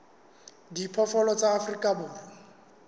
a diphoofolo tsa afrika borwa